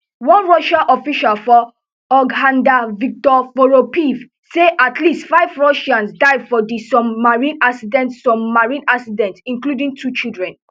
one russian official for hurghada viktor voropaev say at least five russians die for di submarine accident submarine accident including two children